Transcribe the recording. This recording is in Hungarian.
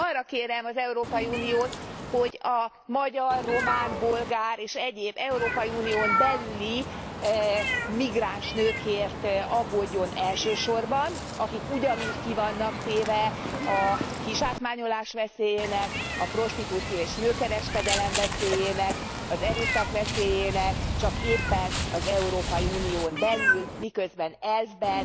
Tehát arra kérem az Európai Uniót, hogy a magyar, román, bolgár és egyéb európai unión belüli migráns nőkért aggódjon elsősorban, akik ugyanúgy ki vannak téve a kizsákmányolás veszélyének, a prostitúció és nőkereskedelem veszélyének, az erőszak veszélyének, csak éppen az Európai Unión belül, miközben elvben